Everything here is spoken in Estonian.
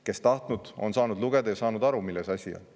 Kes on tahtnud, on saanud lugeda ja saanud aru, milles asi on.